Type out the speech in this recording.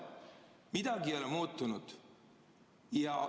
Midagi ei ole muutunud.